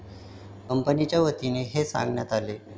कंपनीच्यावतीनं हे सांगण्यात आलंय.